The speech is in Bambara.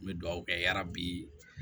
N bɛ dugawu kɛ yarabi